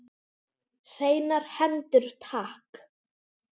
Hreinar hendur takk!